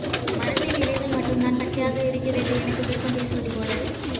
மரத்தின் இலைகள் மட்டும்தான் பச்சையாக இருக்கிறது என குதர்க்கம் பேசுவது போல